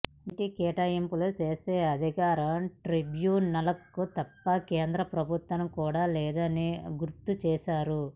నీటి కేటాయింపులు చేసే అధికారం ట్రిబ్యునల్కు తప్ప కేంద్ర ప్రభుత్వానికి కూడా లేదని గుర్తు చేశారు